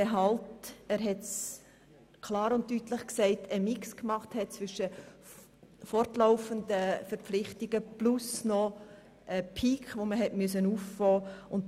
Deshalb hat man in der Berechnungsgrundlage einen Mix zwischen fortlaufenden Verpflichtungen und einem zusätzlichen Peak gemacht, den man auffangen musste.